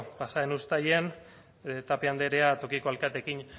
pasa den uztailean tapia andrea tokiko alkateekin